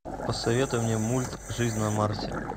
посоветуй мне мульт жизнь на марсе